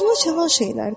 Qızılıma çalan şeylərdir.